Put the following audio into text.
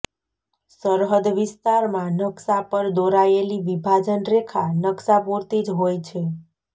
સરહદ વિસ્તારમાં નકશા પર દોરાયેલી વિભાજન રેખા નકશા પૂરતી જ હોય છે